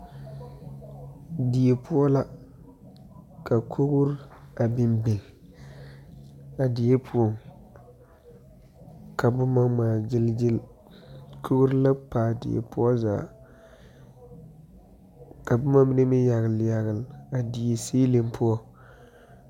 Die poɔ la ka kori a biŋ biŋ ,a die poɔŋ, ka boma ŋmaa gyil gyil kori la pa a die poɔ zaa ka boma mine meŋ yagele yagele a die ceiling poɔ .